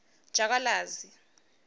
jakalazi